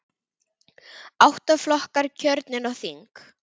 Átta flokkar kjörnir á þing.